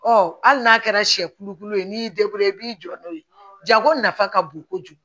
Ɔ hali n'a kɛra sɛ kulukutu ye n'i y'i i b'i jɔ n'o ye jago nafa ka bon kojugu